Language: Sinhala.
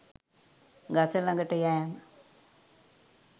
ගස ළඟට යෑම